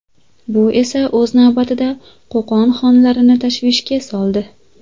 Bu esa o‘z navbatida Qo‘qon xonlarini tashvishga soldi.